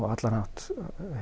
á allan hátt